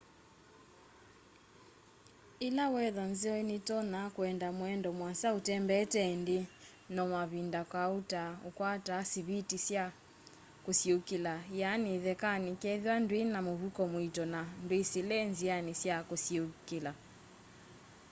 ila wetha nzeo nitonya kuenda muendo muasa utembeete indi no mavinda kauta ukwataa siviti sya kusiuukila iani ithekani kethiwa ndwina muvuko muito na ndwisile nziani sya kusiuukila